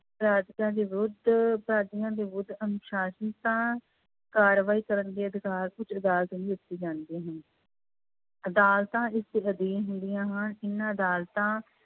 ਦੇ ਵਿਰੁੱਧ ਅਪਰਾਧੀਆਂ ਦੇ ਵਿਰੁੱਧ ਅਨੁਸਾਸ਼ਨਤਾ ਕਾਰਵਾਈ ਕਰਨ ਦੇ ਅਧਿਕਾਰ ਉੱਚ ਅਦਾਲਤ ਨੂੰ ਦਿੱਤੇ ਜਾਂਦੇ ਹਨ ਅਦਾਲਤਾਂ ਇਸਦੇ ਅਧੀਨ ਹੁੰਦੀਆਂ ਹਨ, ਇਹਨਾਂ ਅਦਾਲਤਾਂ